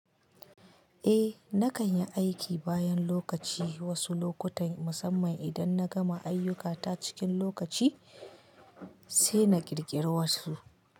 Eh, na kan yi aiki bayan lokaci wasu lokutan musamman idan na gama ayyukata cikin lokaci, sai na ƙirƙiri wasu.